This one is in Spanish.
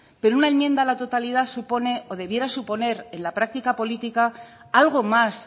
pero una enmienda a la totalidad supone o debiera suponer en la práctica política algo más